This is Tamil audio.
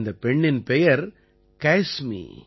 இந்தப் பெண்ணின் பெயர் கைஸ்மி